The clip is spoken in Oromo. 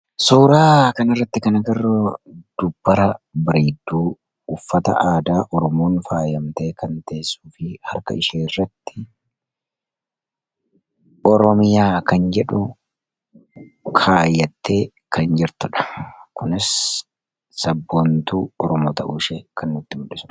suuraa kan irratti kana garroo dubbara bariidduu uffata aadaa ormuun faayamtee kan teessuu fi harka ishee irratti oromiyaa kan jedhu kaayyattee kan jirtudha kunis sabboontuu ormo ta'uu ishee kan nuutti mudhisa